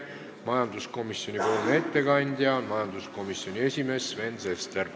Majanduskomisjoni ettekandja on majanduskomisjoni esimees Sven Sester.